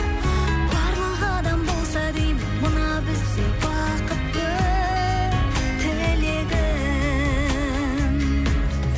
барлық адам болса деймін мына біздей бақытты болса деймін тілегім